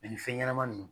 ni fɛn ɲɛnama ninnu